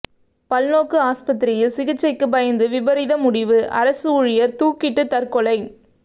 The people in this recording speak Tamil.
பல்நோக்கு ஆஸ்பத்திரியில் சிகிச்சைக்கு பயந்து விபரீத முடிவு அரசு ஊழியர் தூக்கிட்டு தற்கொலை